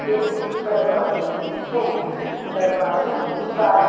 कई दरवाजे हैं। दरवाजा का--